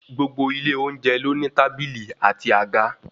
Gbogbo ilé oúnjẹ ló ní tábìlì àti àga.